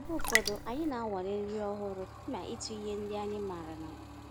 Mgbe ụfọdụ, anyị na-anwale nri ọhụrụ kama ịtụ ihe ndị anyị maara na mbụ